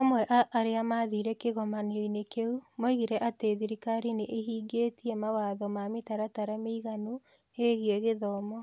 Amwe a arĩa maathire kĩgomano-inĩ kĩu moigire atĩ thirikari nĩ ĩhingĩtie mawatho na mĩtaratara mĩiganu ĩgiĩ gĩthomo.